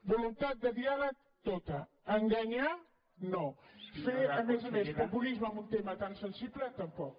voluntat de diàleg tota enganyar no fer a més a més populisme amb un tema tan sensible tampoc